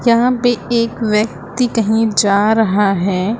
यहां पे एक व्यक्ति कहीं जा रहा है।